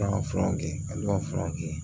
An ka furaw kɛ olu ka fura kɛ